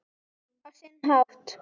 Á sinn hátt.